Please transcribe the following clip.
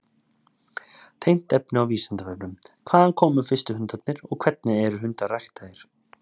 Tengt efni á Vísindavefnum: Hvaðan komu fyrstu hundarnir og hvernig eru hundar ræktaðir?